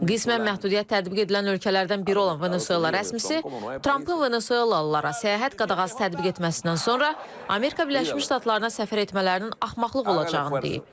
Qismən məhdudiyyət tətbiq edilən ölkələrdən biri olan Venesuela rəsmisi Trampın venesuelalılara səyahət qadağası tətbiq etməsindən sonra Amerika Birləşmiş Ştatlarına səfər etmələrinin axmaqlıq olacağını deyib.